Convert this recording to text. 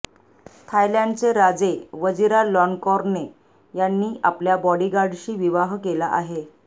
थायलॅंडचे राजे वजिरालॉन्कोर्न यांनी आपल्या बॉडीगार्डशी विवाह केला आहे